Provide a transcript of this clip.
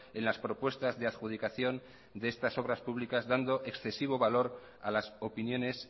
en las propuestas de adjudicación de estas obras públicas dando excesivo valor a las opiniones